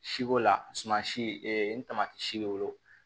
Siko la suman si n tamati si bɛ wolo